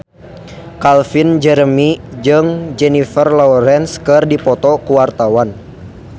Calvin Jeremy jeung Jennifer Lawrence keur dipoto ku wartawan